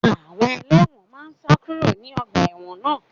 Àwọn ẹlẹ́wọ̀n náà ń sá kúrò ní ọgbà ẹ̀wọ̀n náà